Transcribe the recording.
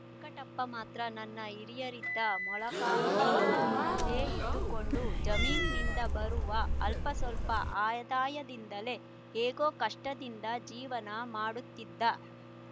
ವೆಂಕಟಪ್ಪ ಮಾತ್ರ ತನ್ನ ಹಿರಿಯರಿದ್ದ ಮೊಳಕಾಲ್ಮುರುವಿನಲ್ಲೇ ಇದ್ದುಕೊಂಡು ಜಮೀನಿನಿಂದ ಬರುವ ಅಲ್ಪ ಸ್ವಲ್ಪ ಆದಾಯದಿಂದಲೇ ಹೇಗೋ ಕಷ್ಟದಿಂದ ಜೀವನ ಮಾಡುತ್ತಿದ್ದ